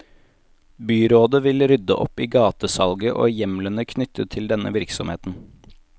Byrådet vil rydde opp i gatesalget og hjemlene knyttet til denne virksomheten.